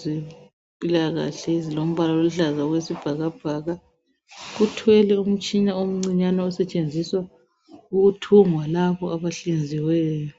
zempilakahle ezilombala oluhlaza okwesibhakabhaka. Uthwele umtshina omncinyane osetshenziswa ukuthungwa labo abahlinziweyo.